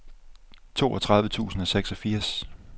toogtredive tusind og seksogfirs